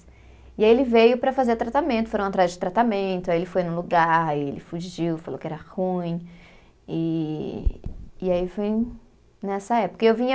E aí ele veio para fazer tratamento, foram atrás de tratamento, aí ele foi no lugar, aí ele fugiu, falou que era ruim, e e aí foi nessa época. E eu vinha